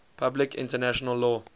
public international law